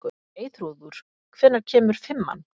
Eyþrúður, hvenær kemur fimman?